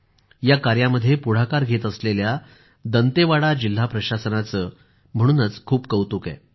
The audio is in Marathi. या कार्यामध्ये पुढाकार घेत असलेल्या दंतेवाडा जिल्हा प्रशासनाचे खूप कौतुक आहे